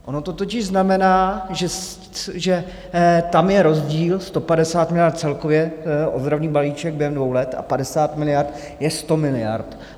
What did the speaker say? Ono to totiž znamená, že tam je rozdíl 150 miliard celkově, ozdravný balíček během dvou let a 50 miliard je 100 miliard.